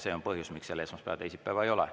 See on põhjus, miks seal esmaspäeva ja teisipäeva ei ole.